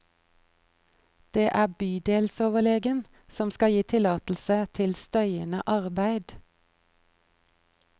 Det er bydelsoverlegen som skal gi tillatelse til støyende arbeid.